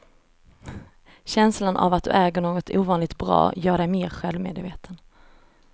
Känslan av att du äger något ovanligt bra gör dig mer självmedveten.